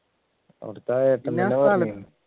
അവിടെത്തെ